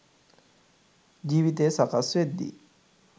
ජීවිතය සකස් වෙද්දි